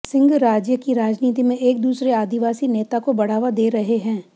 सिंह राज्य की राजनीति में एक दूसरे आदिवासी नेता को बढ़ावा दे रहे हैं